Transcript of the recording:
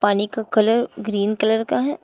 पानी का colour green colour का है।